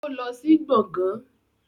Ó lọ sí gbàngán